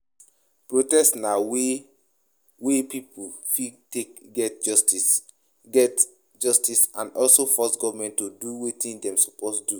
Protest na way wey pipo fit take get justice get justice and also force government to do wetin dem suppose do